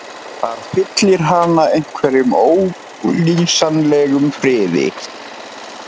Það fyllir hana einhverjum ólýsanlegum friði.